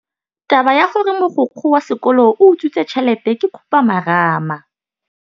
Taba ya gore mogokgo wa sekolo o utswitse tšhelete ke khupamarama.